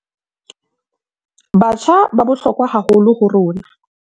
Batjha ba bohlokwa haholo ho rona